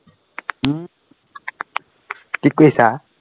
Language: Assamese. কি কৰিছা?